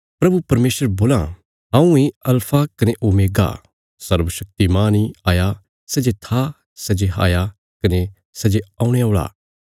प्रभु परमेशर बोलां हऊँ इ अल्फा कने ओमेगा सर्वशक्तिमान इ हाया सै जे था सै जे हया कने सै जे औणे औल़ा